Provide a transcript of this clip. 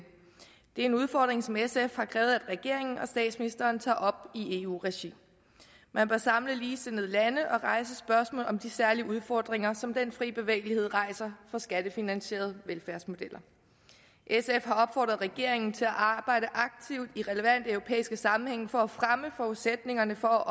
er en udfordring som sf har krævet at regeringen og statsministeren tager op i eu regi man bør samle ligesindede lande og rejse spørgsmålet om de særlige udfordringer som den fri bevægelighed rejser for skattefinansierede velfærdsmodeller sf har opfordret regeringen til at arbejde aktivt i relevante europæiske sammenhænge for at fremme forudsætningerne for